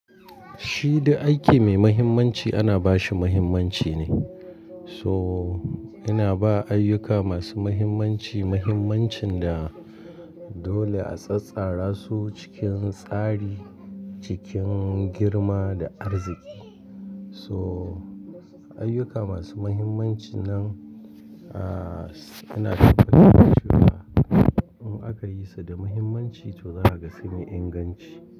Shi da aiki mai muhimmanci ana ba shi muhimmanci ne. So ina ba ayyuka masu muhimmanci muhimmancin da dole a tsattsara su cikin tsari, cikin girma da arziki. So ayyuka masu muhimmanci nan, ah, suna da banbanci da in aka yi su da muhimmanci to za a ga su mai inganci.